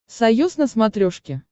союз на смотрешке